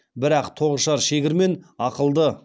бірақ тоғышар шегір мен ақылды